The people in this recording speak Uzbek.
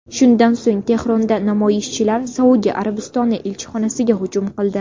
Shundan so‘ng Tehronda namoyishchilar Saudiya Arabistoni elchixonasiga hujum qildi.